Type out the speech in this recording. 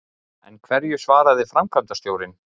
En hverju svaraði framkvæmdastjórinn?